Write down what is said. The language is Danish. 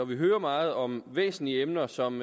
hører meget om væsentlige emner som